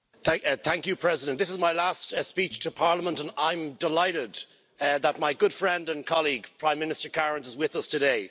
Mr President, this is my last speech to Parliament, and I'm delighted that my good friend and colleague Prime Minister Kariņš is with us today.